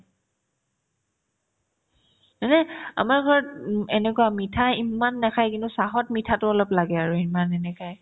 মানে আমাৰ ঘৰত ওব এনেকুৱা মিঠাই ইমান নেখাই কিন্তু চাহত মিঠাতো অলপ লাগে আৰু ইমান এনেকাই